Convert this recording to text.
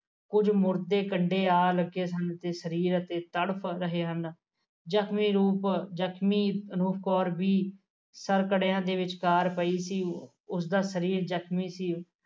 ਕੁਝ ਮੁਰਦੇ ਕੰਡੇ ਆ ਲੱਦੇ ਤੇ ਸਰੀਰ ਤੜਪ ਰਹੇ ਹਨ ਜਖਮੀ ਰੂਪ ਜਖਮੀ ਅਨੂਪ ਕੌਰ ਵੀ ਸਰਕੜਿਆ ਦੇ ਵਿਚਕਾਰ ਪਈ ਸੀ ਉਸਦਾ ਸਰੀਰ ਜਖਮੀ ਸੀ